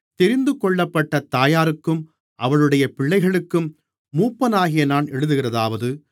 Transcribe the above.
தெரிந்துகொள்ளப்பட்டத் தாயாருக்கும் அவளுடைய பிள்ளைகளுக்கும் மூப்பனாகிய நான் எழுதுகிறதாவது